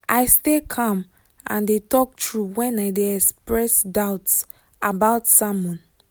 i stay calm and de talk true when i de express doubts about sermon